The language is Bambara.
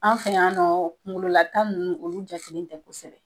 An fɛ y'an nɔ kungolo la tan nunnu olu jatelen tɛ kosɛbɛ